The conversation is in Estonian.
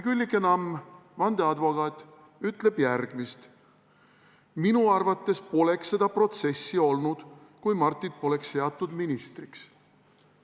Küllike Namm, vandeadvokaat, ütleb järgmist: "Minu arvates poleks seda protsessi olnud, kui Martit poleks seatud ministriks.